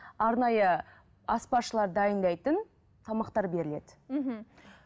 арнайы аспазшылар дайындайтын тамақтар беріледі мхм